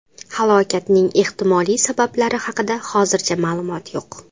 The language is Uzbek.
Halokatning ehtimoliy sabablari haqida hozircha ma’lumot yo‘q .